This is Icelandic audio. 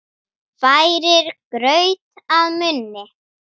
Færir graut að munni.